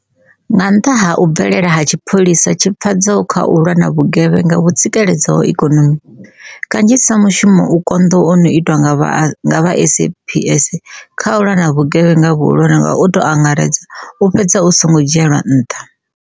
Nga nnḓa ha u bvelela ha tshipholisa tshi pfadzaho kha u lwa na vhugevhenga vhu tsikeledzaho ikonomi, kanzhisa mushumo u konḓaho u no itwa nga vha SAPS kha u lwa na vhuge vhenga vhuhulwane nga u tou angaredza u fhedza u songo dzhielwa nṱha.